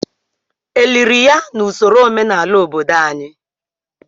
Eliri ya na usoro omenala obodo anyị?